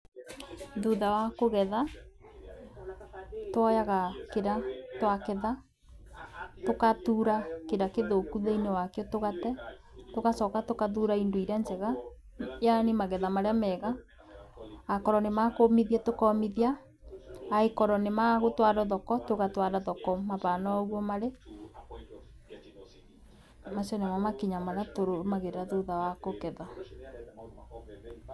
Thutha wa kũgetha twoyaga kĩrĩa twaketha tũkathura kĩrĩa kĩthũku thĩiniĩ wakĩo tũgate tũgacoka tũkathura indio iria njega yaani magetha marĩa mega akorwo nĩmakũmithia tũkomithia akorwo nĩmagũtwara thoko tũgatwara thoko mabana oũguo marĩ, macio nĩmo makinya marĩa tũrũmagĩrĩra thutha wa kũgetha.